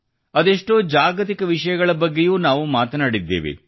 ಅದೆಷ್ಟೋ ಜಾಗತಿಕ ವಿಷಯಗಳ ಬಗ್ಗೆಯೂ ನಾವು ಮಾತನಾಡಿದ್ದೇವೆ